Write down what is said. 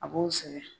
A b'o sɛgɛn